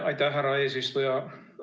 Aitäh, härra eesistuja!